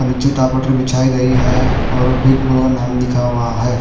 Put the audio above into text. नीचे बिछाई गई है और बिग का नाम लिखा हुआ है।